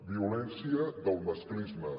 violència del masclisme